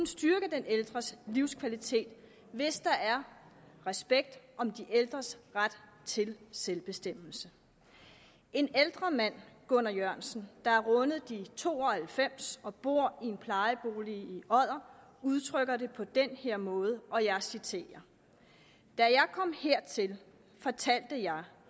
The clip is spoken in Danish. styrke den ældres livskvalitet hvis der er respekt om de ældres ret til selvbestemmelse en ældre mand gunnar jørgensen der har rundet de to og halvfems og bor i en plejebolig i odder udtrykker det på den her måde og jeg citerer da jeg kom hertil fortalte jeg